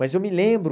Mas eu me lembro...